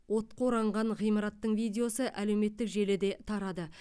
отқа оранған ғимараттың видеосы әлеуметтік желіде тарады